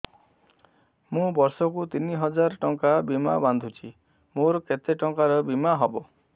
ମୁ ବର୍ଷ କୁ ତିନି ହଜାର ଟଙ୍କା ବୀମା ବାନ୍ଧୁଛି ମୋର କେତେ ଟଙ୍କାର ବୀମା ହବ